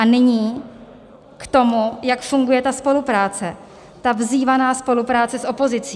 A nyní k tomu, jak funguje ta spolupráce, ta vzývaná spolupráce s opozicí.